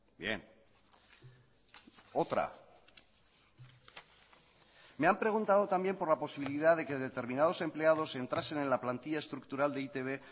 bien otra me han preguntado también por la posibilidad de que determinados empleados entrasen en la plantilla estructural de e i te be